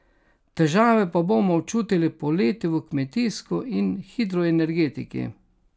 Težave pa bomo občutili poleti v kmetijstvu in hidroenergetiki.